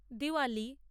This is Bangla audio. দিওয়ালি